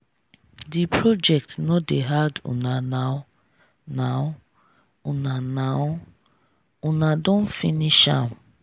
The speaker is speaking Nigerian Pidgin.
de project no dey hard una now now una now una don finish am.